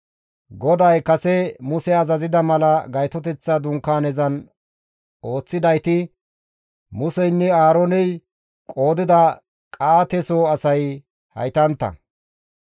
GODAY kase Muse azazida mala Gaytoteththa Dunkaanezan ooththidayti Museynne Aarooney qoodida Qa7aate soo asay haytantta.